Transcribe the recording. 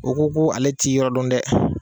O ko ko ale ti yɔrɔ don dɛ.